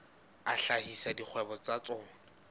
a hlahisa dikgwebo tsa tsona